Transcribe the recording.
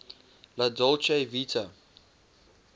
la dolce vita